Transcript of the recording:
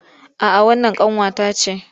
A'a wannan ƙanwa ta ce